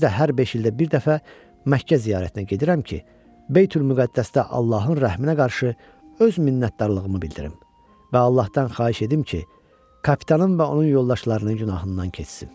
Özü də hər beş ildə bir dəfə Məkkə ziyarətinə gedirəm ki, Beytülmüqəddəsdə Allahın rəhminə qarşı öz minnətdarlığımı bildirim və Allahdan xahiş edim ki, kapitanın və onun yoldaşlarının günahından keçsin.